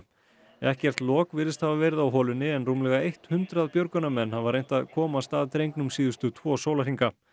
ekkert lok virðist hafa verið á holunni en rúmlega eitt hundrað björgunarmenn hafa reynt að komast að drengnum síðustu tvo sólarhringa